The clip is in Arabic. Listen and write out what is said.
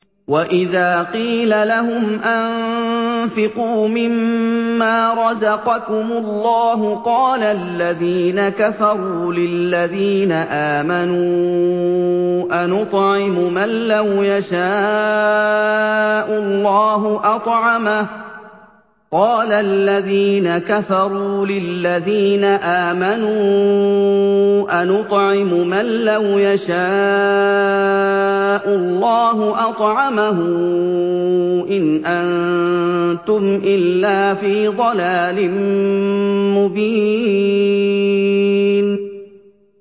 وَإِذَا قِيلَ لَهُمْ أَنفِقُوا مِمَّا رَزَقَكُمُ اللَّهُ قَالَ الَّذِينَ كَفَرُوا لِلَّذِينَ آمَنُوا أَنُطْعِمُ مَن لَّوْ يَشَاءُ اللَّهُ أَطْعَمَهُ إِنْ أَنتُمْ إِلَّا فِي ضَلَالٍ مُّبِينٍ